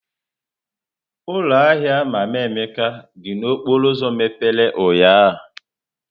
Ụlọ ahịa Mama Emeka dị n'okporo ụzọ mepere ụnyahụ?